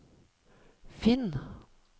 finn